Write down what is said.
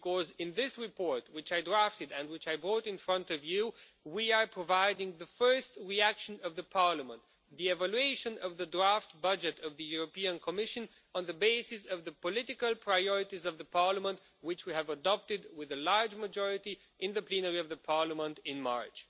Because in this report, which I drafted and which I brought in front of you, we are providing the first reaction of the Parliament the evaluation of the draft budget of the European Commission on the basis of the political priorities of the Parliament, which we have adopted with a large majority in the plenary of the Parliament in March